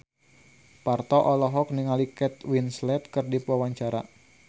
Parto olohok ningali Kate Winslet keur diwawancara